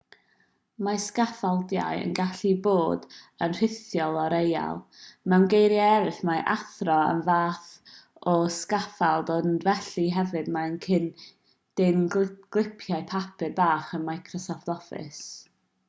mae sgaffaldiau yn gallu bod yn rhithiol a real mewn geiriau eraill mae athro yn fath o sgaffald ond felly hefyd mae'r dyn clipiau papur bach yn microsoft office